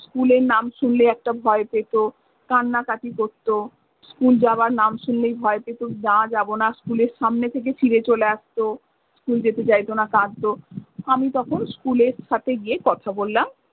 School এর নাম শুনলে একটা ভয় পেত। কান্না কাটি করতো। School যাবার নাম শুনলেই ভয় পেতো, না যাবো না school এর সামনে থেকে ফিরে চলে আসতো। school যেতে চাইতো না কাঁদতো। আমি তখন school এর সাথে গিয়ে কথা বললাম।